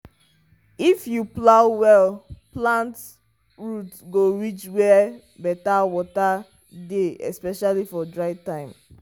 if you plow well plant root go reach where better water dey especially for dry time.